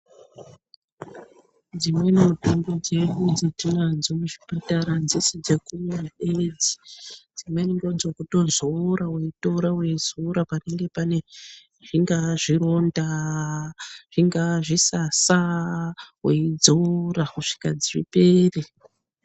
Dzimweni mutombo dzatinadzo muzvipatara adzisi dzekumwa bedzi, dzimweni ndodzokutozora weitorabweizora panenge pane zvingaa zvironda , zvingaa zvisasa weidzora kusvika zvipere.